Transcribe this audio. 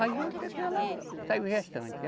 Aí até que ela saiu gestante.